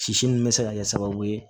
Sisi min bɛ se ka kɛ sababu ye